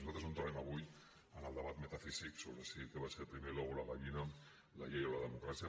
nosaltres no entrarem avui en el debat metafísic sobre què va ser primer si l’ou o la gallina la llei o la democràcia